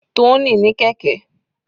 Tony ní kẹ̀kẹ́.